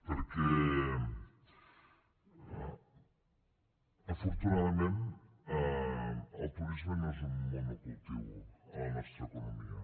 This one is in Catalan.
perquè afortunadament el turisme no és un monocultiu a la nostra economia